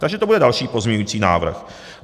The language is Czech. Takže to bude další pozměňovací návrh.